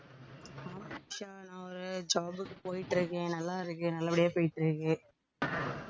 ஆமா அபிஷா நான் ஒரு job க்கு போயிட்டு இருக்கேன். நல்லா இருக்கேன், நல்லபடியா போயிட்டிருக்கு